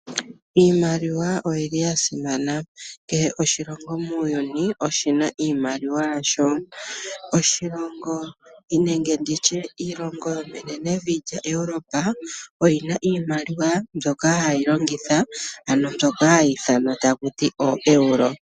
Iimaliwa oyili ya simana, kehe oshilongo muuyuni oshina iimaliwa yasho. Oshilongo nenge nditye iilongo yo menenevi lyaEuropa, oyina iimaliwa mbyoka hayi longitha ano mbyoka hayi ithanwa taku ti ooeuro.